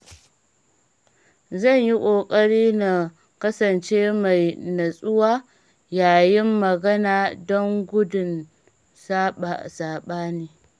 Zan yi ƙoƙari na kasance mai natsuwa yayin magana don gudun saɓani.